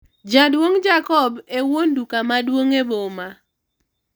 jaduong' Jacobo e wuon duka maduong' e boma